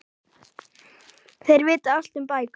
Þeir vita allt um bækur.